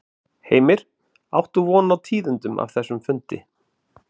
Heimir: Áttu von á tíðindum af þessum fundi?